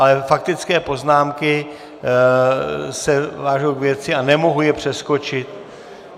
Ale faktické poznámky se vážou k věci a nemohu je přeskočit.